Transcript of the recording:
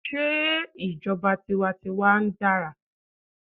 Sé ìjọba tiwa n tiwa dára?